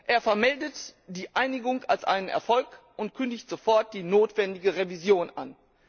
Er vermeldet die Einigung als einen Erfolg und kündigt sofort die notwendige Revision an.